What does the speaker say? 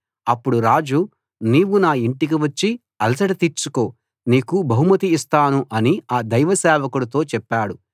అప్పుడు రాజు నీవు నా ఇంటికి వచ్చి అలసట తీర్చుకో నీకు బహుమతి ఇస్తాను అని ఆ దైవసేవకుడితో చెప్పాడు